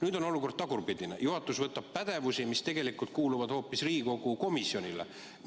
Nüüd on olukord teistpidine: juhatus võtab pädevusi, mis tegelikult kuuluvad hoopis Riigikogu komisjonile.